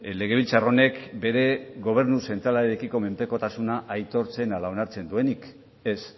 legebiltzar honek bere gobernu zentralarekiko menpekotasuna aitortzen ala onartzen duenik ez